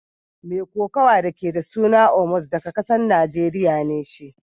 Mai kokawa da ke da suna Omos daga kasan Nijeriya ne shi.